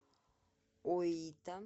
оита